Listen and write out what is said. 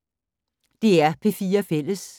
DR P4 Fælles